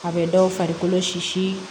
A bɛ dɔw farikolo si